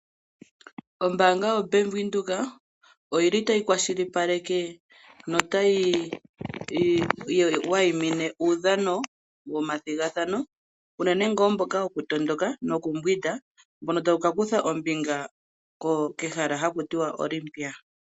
Ombaanga yo Bank Windhoek oyili ta yi kwashilipaleke no ta yi wayimine uudhano womathigathano unene tuu mboka woku matuka noku yoga mbono ta wu kakutha ombinga kehala ndoka haku tiwa oko Olympia.